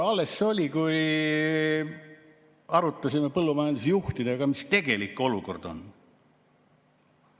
Alles see oli, kui me arutasime põllumajandusjuhtidega, mis tegelik olukord on.